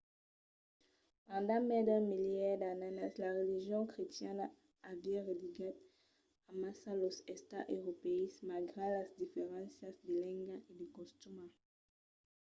pendent mai d’un milièr d’annadas la religion crestiana aviá religat amassa los estats europèus malgrat las diferéncias de lenga e de costumas. i